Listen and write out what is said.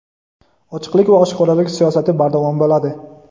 Ochiqlik va oshkoralik siyosati bardavom bo‘ladi.